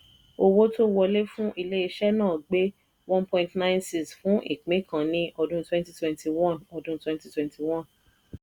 owó tó wọlé fún ilé-iṣẹ́ náà gbé one point nine six fún ìpín kan ní ọdún twenty twenty one ọdún twenty twenty one.